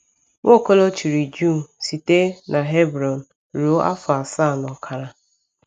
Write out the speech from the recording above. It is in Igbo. Nwaokolo chịrị Juu site n’Hebron ruo afọ asaa na ọkara.